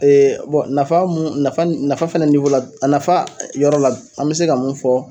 nafa mun nafa ni nafa fana la a nafa yɔrɔ la an bɛ se ka mun fɔ